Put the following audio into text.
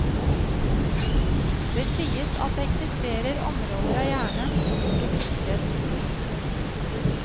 Det sies at det eksisterer områder av hjernen som ikke brukes.